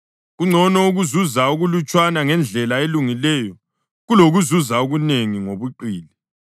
Kungcono ukuzuza okulutshwana ngendlela elungileyo kulokuzuza okunengi ngobuqili.